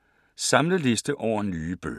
Samlet liste over nye bøger